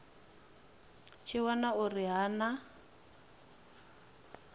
tshi wana uri ha na